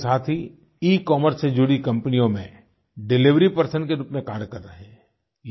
बड़ी संख्या में हमारे साथी इकॉमर्स से जुड़ी कम्पनियों में डिलिवरी पर्सन के रूप में कार्य कर रहे हैं